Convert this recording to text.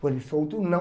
Com ele solto, não.